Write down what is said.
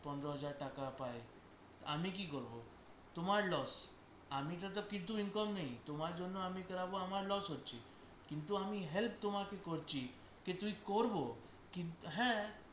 পনেরো হাজার টাকা পায় আমি কি করবো তোমার loss আমার তো কিছু income নেই তোমার জন্য আমি করবো আমার loss হচ্ছে কিন্তু আমি help তোমাকে করছি, যে তুই করবো কিন্তু হ্যাঁ